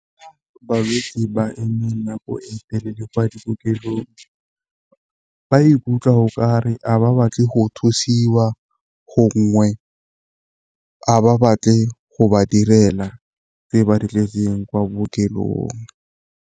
Balwetsi ba emeng nako e telele kwa dikokelong ba ikutlwa okare a ba batle go thusiwa, gongwe a ba batle go ba direla tse ba ditletseng kwa bookelong.